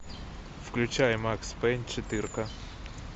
включай макс пейн четыре ка